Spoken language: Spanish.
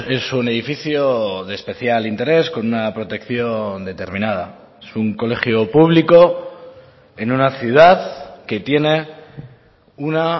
es un edificio de especial interés con una protección determinada es un colegio público en una ciudad que tiene una